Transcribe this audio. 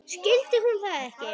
Skildi hún það ekki?